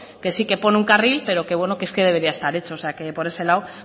que sí que pone un carril pero es que debería estar hecho o sea que por eso lado